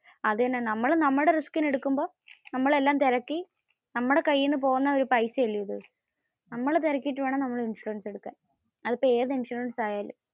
അത് തന്നെ. നമ്മൾ നമ്മടെ risking എടുക്കുമ്പോ നമ്മൾ എല്ലാം തിരക്കി. നമ്മടെ കയ്യിന്നു പോകുന്ന ഒരു പൈസ അല്ലെ ഇത്. നമ്മൾ തിരക്കിയട്ടു വേണം നമ്മൾ ഇൻഷുറൻസ് എടുക്കാൻ. അതിപ്പോ ഏതു ഇൻഷുറൻസ് ആയാലും